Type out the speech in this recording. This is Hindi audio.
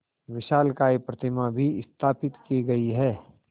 विशालकाय प्रतिमा भी स्थापित की गई है